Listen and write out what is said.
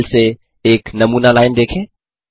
इस फाइल से एक नमूना लाइन देखें